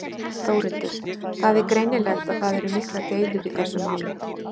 Þórhildur: Það er greinilegt að það eru miklar deilur í þessu máli?